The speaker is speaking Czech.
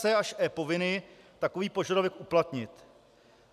c) až e) povinny takový požadavek uplatnit.